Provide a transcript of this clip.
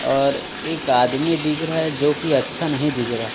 और एक आदमी दिख रहा है जोकि अच्छा नहीं दिख रहा--